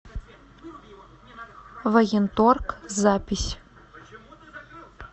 военторг запись